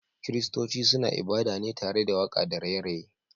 Kiristonci suna ibada ne tare waka da raye raye